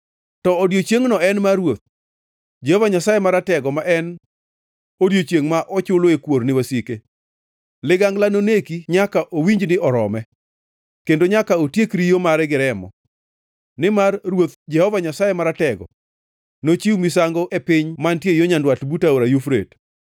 To odiechiengno en mar Ruoth, Jehova Nyasaye Maratego ma en odiechiengʼ, ma ochuloe kuor ni wasike. Ligangla noneki nyaka owinj ni orome, kendo nyaka otiek riyo mare gi remo. Nimar Ruoth, Jehova Nyasaye Maratego, nochiw misango e piny mantie yo nyandwat but Aora Yufrate.